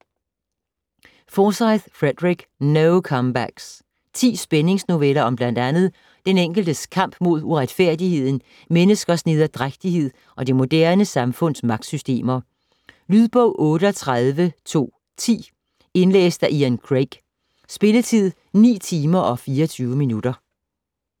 Forsyth, Frederick: No comebacks Ti spændings-noveller om bl. a. den enkeltes kamp mod uretfærdigheden, menneskers nederdrægtighed og det moderne samfunds magtsystemer. Lydbog 38210 Indlæst af Ian Craig. Spilletid: 9 timer, 24 minutter.